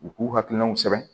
U k'u hakilinaw sɛbɛn